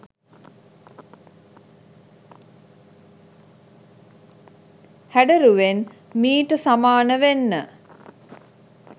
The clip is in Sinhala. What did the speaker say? හැඩරුවෙන් මීට සමාන වෙන්න